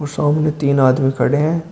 सामने तीन आदमी खड़े हैं।